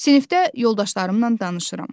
Sinifdə yoldaşlarımla danışıram.